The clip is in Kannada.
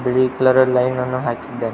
ಬಿಳಿ ಕಲರ್ ಲೈನ್ ನ್ನು ಹಾಕಿದ್ದಾರೆ.